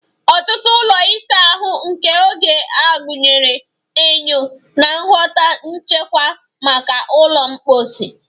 Ọtụtụ ụlọ ịsa ahụ nke oge a gụnyere enyo na ngwọta nchekwa maka ụlọ mposi